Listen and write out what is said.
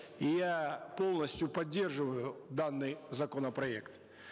и я полностью поддерживаю данный законопроект